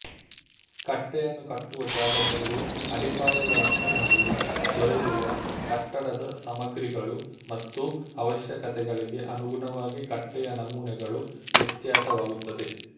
ಕಟ್ಟೆಯನ್ನು ಕಟ್ಟುವ ಜಾಗದಲ್ಲಿ ಅಡಿಪಾಯದ ಲಕ್ಷಣ ಅಲ್ಲಿ ದೊರೆಯುವ ಕಟ್ಟಡದ ಸಾಮಗ್ರಿಗಳು ಮತ್ತು ಆವಶ್ಯಕತೆಗಳಿಗೆ ಅನುಗುಣವಾಗಿ ಕಟ್ಟೆಯ ನಮೂನೆಗಳು ವ್ಯತ್ಯಾಸವಾಗುತ್ತದೆ